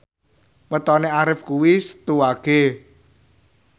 wetone Arif kuwi Setu Wage